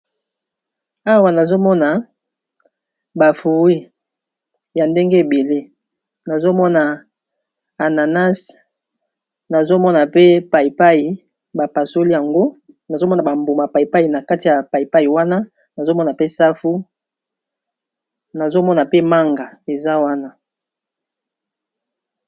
Awa nazomona ba fruit ebele, nazomona ananas, nazomona pe paipai bapasoli yango, nazomona ba mbuma wana, nazomona pe safu nazomona pe manga eza wana.